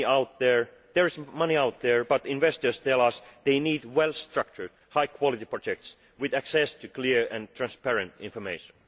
There is money out there, but investors tell us they need well structured, high quality projects with access to clear and transparent information.